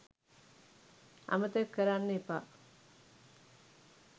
අමතක කරන්න එපා